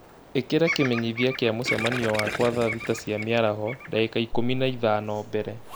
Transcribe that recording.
ĩkĩra kĩmenyithia kia mũcemanio wakwa thaa thita cia mĩaraho, ndagĩka ikũmi na ithano mbere